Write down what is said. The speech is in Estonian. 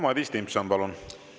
Madis Timpson, palun!